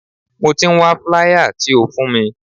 Mo ti ń wá flier tí o fún mi.